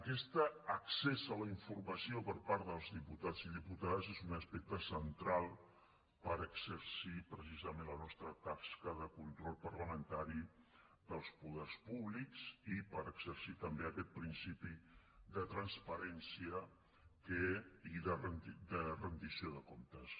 aquest accés a la informació per part dels diputats i diputades és un aspecte central per exercir precisament la nostra tasca de control parlamentari dels poders públics i per exercir també aquest principi de transparència i de rendició de comptes